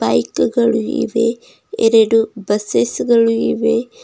ಇವೆ ಎರಡು ಬಸಸ್ ಗಳು ಇವೆ.